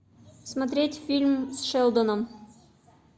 смотреть фильм с шелдоном